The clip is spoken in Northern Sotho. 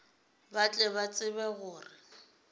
ba tle ba tsebe gore